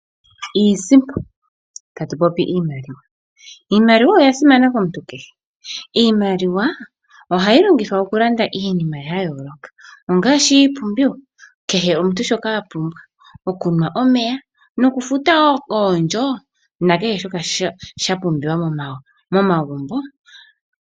Iisimpo, tatu popi iimaliwa. Iimaliwa oya simana komuntu kehe. Iimaliwa ohayi longithwa okulanda iinima ya yooloka, ongaashi iipumbiwa. Kehe omuntu shoka a pumbwa, okunwa omeya nokufuta wo oondjo nakehe shoka sha pumbiwa momagumbo.